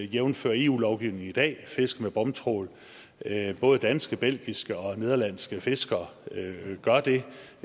jævnfør eu lovgivningen i dag fiske med bomtrawl både danske belgiske og nederlandske fiskere gør det